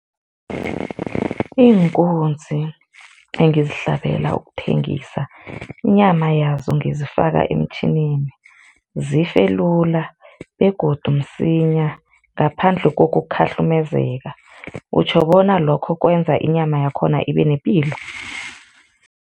Iinkunzi engizihlabela ukuthengisa inyama yazo ngizifaka emtjhinini, zife lula begodu msinya ngaphandle kokukhahlumezeka, utjho bona lokho kwenza inyama yakhona ibe nepilo?